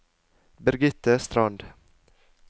Birgitte Strand